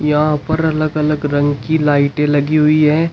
यहां पर अलग अलग रंग की लाइटे लगी हुई है।